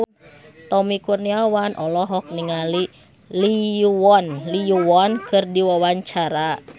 Tommy Kurniawan olohok ningali Lee Yo Won keur diwawancara